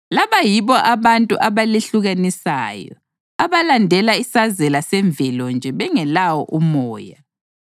Laba yibo abantu abalehlukanisayo, abalandela isazela semvelo nje bengelawo uMoya.